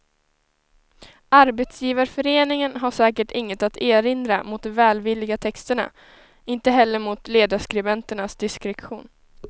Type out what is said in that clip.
Arbetsgivarföreningen har säkert inget att erinra mot de välvilliga texterna, inte heller mot ledarskribenternas diskretion.